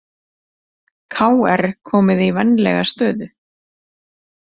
KR komið í vænlega stöðu